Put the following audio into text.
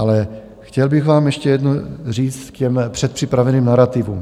Ale chtěl bych vám ještě jedno říct k těm předpřipraveným narativům.